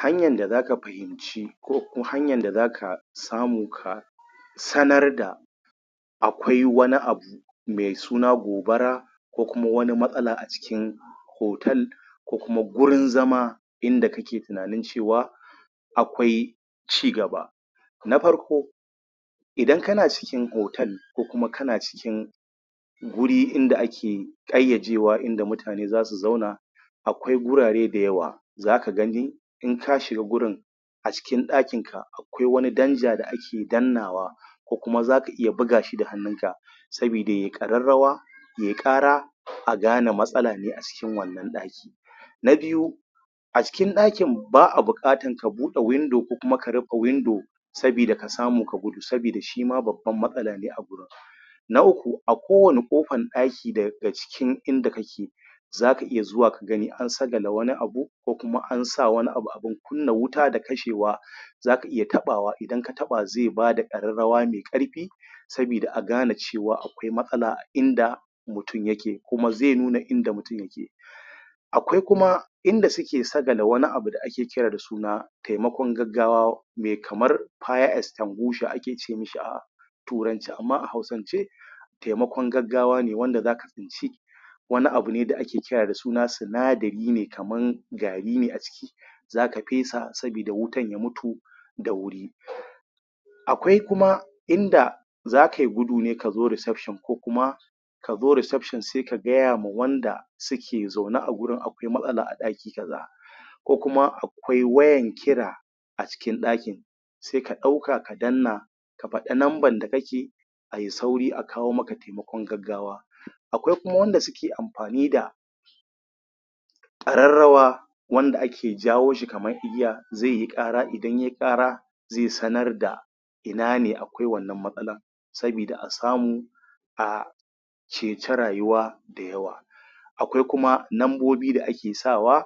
Hanyan da zaka fahimci ko hanyan da zaka samu ka sanar da akwai wani abu mai suna gobara ko kuma wani matsala acikin hotel ko kuma gurin zama inda kake tunanin cewa akwai cigaba na farko; idan kana cikin hotel ko kuma kana cikin guri inda ake ƙayyajewa inda mutane zasu zauna akwai gurare da yawa zaka gani in ka shiga gurin a cikin ɗakin ka akwai wani danja da ake dannawa ko kuma zaka iya buga shi da hannun ka sabida ye ƙararrawa ye ƙara a gane matsala ne acikin wannan ɗakin na biyu; acikin ɗakin ba'a buƙatan ka buɗe windo ko kuma ka rufe windo sabida ka samu ka gudu sabida shima babban matsala ne na uku; a ko wanne ƙofan ɗaki daga cikin inda kake zaka iya zuwa gani an sagale wani abu ko kuma ansa wani abu abun kunna wuta da kashewa zaka iya taɓawa, idan ka taɓa zai bada ƙararrawa mai ƙarfi sabida a gane cewa akwai matsala a inda mutun yake kuma zai nuna inda mutun yake akwai kuma inda suke sagale wani abu da ake kira da suna taimakon gaggawa mai kamar fire extinguisher ake ce mishi a a turance, amma a hausan ce taimakon gaggawa ne wanda zaka wani abune da ake kira da suna sinadari ne kaman gari ne a ciki zaka fesa sabida wutan ya mutu da wuri um akwai kuma inda zakai gudu ne kazo reception ko kuma ka zo reception sai ka gaya ma wanda suke zaune a gurin akwai matsala a ɗaki ka za ko kuma a kwai wayan kira a cikin ɗakin sai ka ɗauka ka danna ka faɗi numban da kake ai sauri a kawo maka taimakon gaggawa akwai kuma wanda suke amfani da ƙararrawa wanda ake jawo shi kaman igiya zai yi ƙara idan ye ƙara zai sanar da ina ne akwai wannan matsalan sabida a samu a ce ca rayuwa da yawa akwai kuma numbobi da ake sawa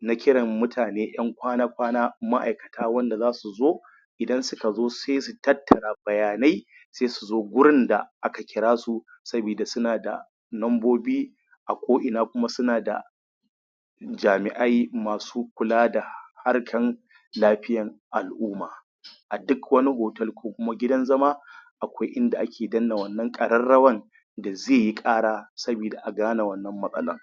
na kiran mutane ƴan kwana-kwana ma'ai kata wanda zasu zo idan suka zo sai su tattara bayanai sai su zo gurin da aka kira su sabida suna da numbobi a ko ina suna da jami'ai masu kula da harkan lafiyan al'umma a duk wani hotel ko kuma gidan zama akwai inda ake danna wannan ƙararrawan da zaiyi ƙara sabida a gane wannan matsalan.